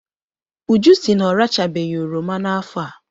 Uju sị na ọrachabeghị oroma n'afọ a.